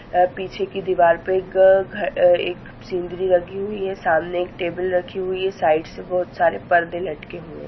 अ पीछे की दीवार पे अ घ एक सिंदरी लगी हुई है सामने एक टेबुल रखी है साइड से बहुत सारे परदे लटके हुए है।